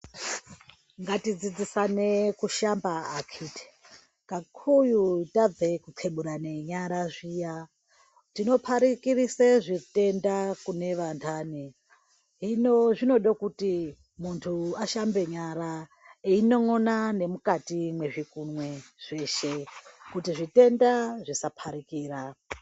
Ngatidzidzisane kushamba akiti pakuru tabve kukeburana nyara zviya. Tinoparikire zvitenda kunevantani. Hino zvinode kuti muntu ashambe nyara eyinon'ona nemukati mwezvikunwe zveshe kuti zvitenda zvisaparikira.